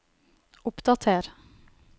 oppdater